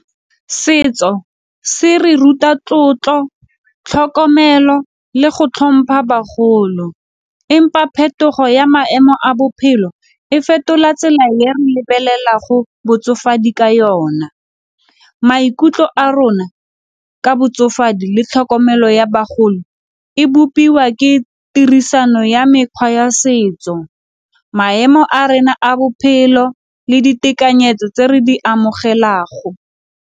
Setso se re ruta tlotlo, tlhokomelo le go hlompha bagolo, empa phetogo ya maemo a bophelo e fetola tsela ya re lebelela go botsofe madi ka yona. Maikutlo a rona ka botsofadi le tlhokomelo ya bagolo e bopiwa ke tirisano ya mekgwa ya setso maemo a rena a bophelo le ditekanyetso tse re di amogelago.